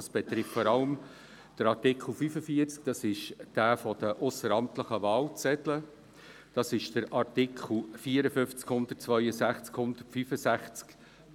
Dies betrifft vor allem den Artikel 45 zu den ausseramtlichen Wahlzetteln, die Artikel 54, 162 und 165